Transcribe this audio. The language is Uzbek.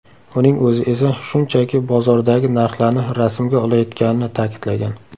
Uning o‘zi esa shunchaki bozordagi narxlarni rasmga olayotganini ta’kidlagan.